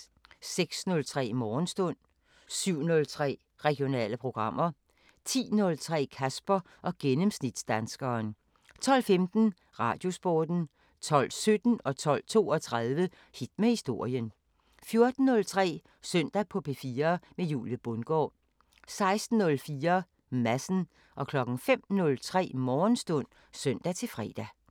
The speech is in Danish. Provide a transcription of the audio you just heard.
06:03: Morgenstund 07:03: Regionale programmer 10:03: Kasper og gennemsnitsdanskeren 12:15: Radiosporten 12:17: Hit med historien 12:32: Hit med historien 14:03: Søndag på P4 med Julie Bundgaard 16:04: Madsen 05:03: Morgenstund (søn-fre)